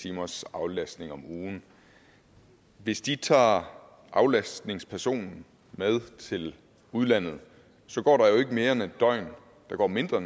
timers aflastning om ugen hvis de tager aflastningspersonen med til udlandet går der jo ikke mere end en døgn eller der går mindre